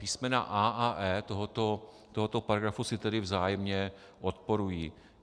Písmena a) a e) tohoto paragrafu si tedy vzájemně odporují.